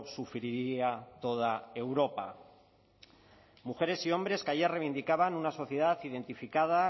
sufriría toda europa mujeres y hombres que ayer reivindicaban una sociedad identificada